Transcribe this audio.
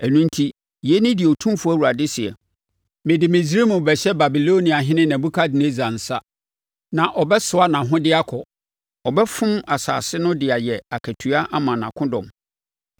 Ɛno enti, yei ne deɛ Otumfoɔ Awurade seɛ: Mede Misraim rebɛhyɛ Babiloniahene Nebukadnessar nsa na ɔbɛsoa nʼahodeɛ akɔ. Ɔbɛfom asase no de ayɛ akatua ama nʼakodɔm.